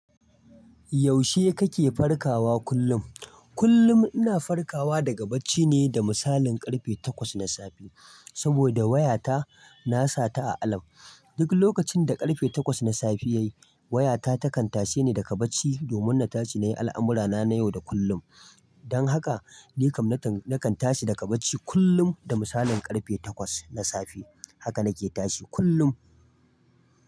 Yaushe kake farkawa kullum? Kullum ina farkawa daga bacci ne da misalin karfe takwas na safe, saboda wayata na sata a alarm. Duk lokacin da karfe takwas na safe ya yi, wayata takan tashe ni daga bacci domin na tashi na yi al'amurana na yau da kullum. Dan haka, nikam nakan tashi daga bacci kullum da misalin karfe takwas na safe. Haka nake tashi kullum.